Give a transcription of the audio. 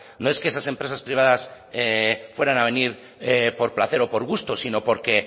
no es que esas empresas privadas fueran a venir por placer o por gusto sino porque